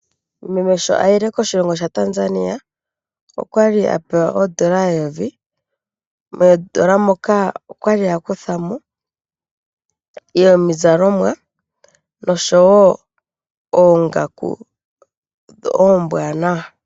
Meme sho ayile koshilongo shaTanzania okwali apewa oondolo 1000, moondola moka okwali akuthamo yomizalomwa nosho woo oongaku ombwanawa.